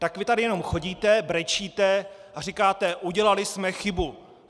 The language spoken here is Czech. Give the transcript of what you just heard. Tak vy tady jenom chodíte, brečíte a říkáte: Udělali jsme chybu!